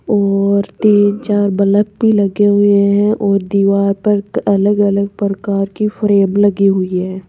और तीन चार बलफ भी लगे हुए हैं और दीवार पर अलग अलग प्रकार की फ्रेम लगी हुई है।